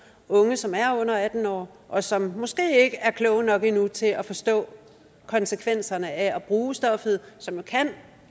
unge som er under atten år og som måske ikke er kloge nok endnu til at forstå konsekvenserne af at bruge stoffet som kan